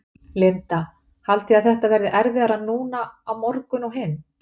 Linda: Haldið þið að þetta verði erfiðara núna á morgun og hinn?